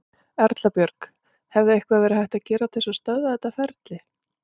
Erla Björg: Hefði eitthvað verið hægt að gera til þess að stöðva þetta ferli?